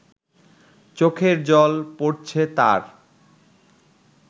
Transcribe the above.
চোখের জল পড়ছে তাঁর